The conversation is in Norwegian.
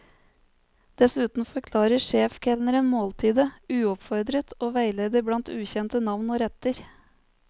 Dessuten forklarer sjefkelneren måltidet, uoppfordret, og veileder blant ukjente navn og retter.